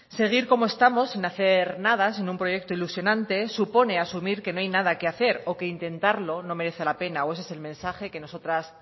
seguir como estamos sin hacer nada sin un proyecto ilusionante supone asumir que no hay nada que hacer o que intentarlo no merece la pena o ese es el mensaje que nosotras